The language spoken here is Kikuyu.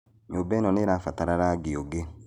Nyũmba ĩno nĩirabatara rangi ũngĩ